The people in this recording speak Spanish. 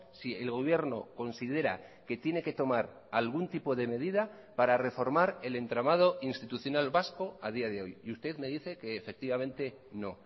si el gobierno considera que tiene que tomar algún tipo de medida para reformar el entramado institucional vasco a día de hoy y usted me dice que efectivamente no